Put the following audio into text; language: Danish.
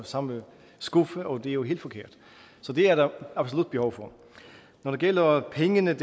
samme skuffe og det er jo helt forkert så det er der absolut behov for når det gælder pengene